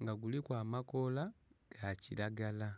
nga kuliku amakoola ga kilagala.